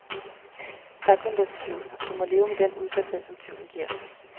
Der er kun den tvivl, og du må leve med den udsathed, som tvivlen giver.